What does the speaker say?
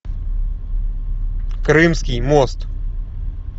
крымский мост